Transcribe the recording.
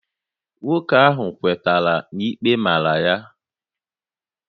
Nwoke ahụ kwetara na ikpe màrà ya